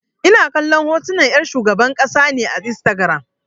Ina kallon hotunan 'yar shugaban ƙasa ne a Instagiram.